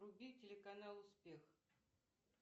вруби телеканал успех